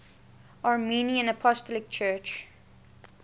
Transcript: armenian apostolic church